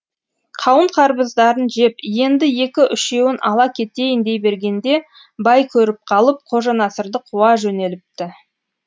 қауын қарбыздарын жеп енді екі үшеуін ала кетейін дей бергенде бай көріп қалып қожанасырды қуа жөнеліпті